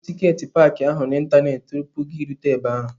Zụrụ tiketi paaki ahụ n'ịntanetị tupu ị rute ebe ahụ!